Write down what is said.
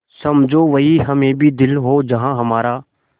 समझो वहीं हमें भी दिल हो जहाँ हमारा